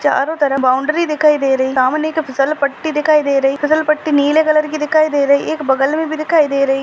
चारो तरफ बाउंड्री दिखाई दे रही सामने एक फिसल पट्टी दिखाई दे रही फिसल पट्टी नीले कलर की दिखाई दे रही एक बगल मे भी दिखाई दे रही--